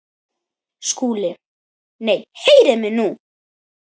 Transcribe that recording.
SKÚLI: Nei, heyrið mig nú!